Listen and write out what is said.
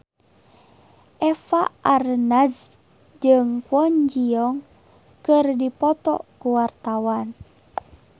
Eva Arnaz jeung Kwon Ji Yong keur dipoto ku wartawan